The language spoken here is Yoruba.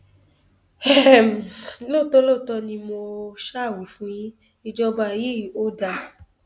um lóòótọ lóòótọ ni mo um wí fún yín ìjọba yìí ò dáa